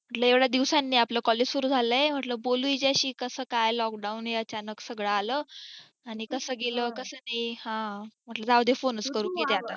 म्हंटलं एवढ्या दिवसानी आपलं collage सुरू झालाय म्हंटल बोलू हिच्याशी कसं काय lockdown हे अचानक सगळं आला आणि कसं गेल आणि कसं नाही म्हंटल जाऊ दे Phone च करून घेते आता